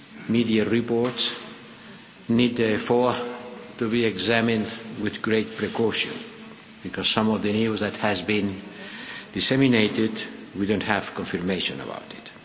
Media reports need therefore to be examined with great caution because some of the news that has been disseminated, we don't have confirmation about it.